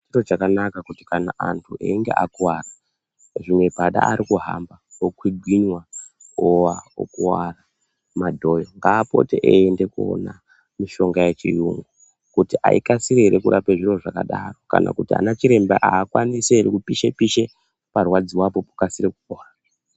Chiro chakanaka kana antu achinge akuvara zvimwe Padalecki arikuhamba okwigwinwa owa ukuwara ngaapote achiende kunoona mutombo yechirungu kuti haikasiri here kurapa zviro zvakadaro kana kuti ana chiremba haakwanisi here kupishe pishe parwadziwapo pakwanise kupora .